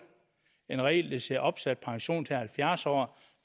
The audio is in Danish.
en regel der siger opsat pension til halvfjerds år